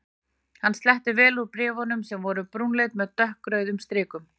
Hann sletti vel úr bréf- unum sem voru brúnleit með dökkrauðum strikum.